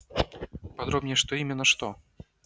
подробнее что именно что